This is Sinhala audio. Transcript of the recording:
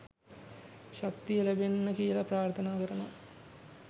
ශක්තිය ලැබෙන්න කියල ප්‍රාර්ථනා කරනව.